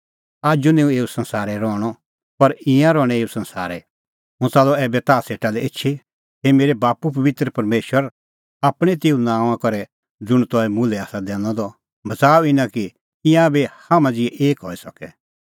आजू निं हुंह एऊ संसारै रहणअ पर ईंयां रहणैं एऊ ई संसारै हुंह च़ाल्लअ ऐबै ताह सेटा लै एछी हे मेरै बाप्पू पबित्र परमेशर आपणैं तेऊ नांओंआं करै ज़ुंण तंऐं मुल्है आसा दैनअ द बच़ाऊ इना कि ईंयां बी हाम्हां ज़िहै एक हई सके